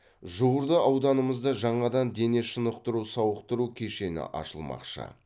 жуырда ауданымызда жаңадан дене шынықтыру сауықтыру кешені ашылмақшы